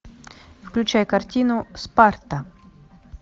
включай картину спарта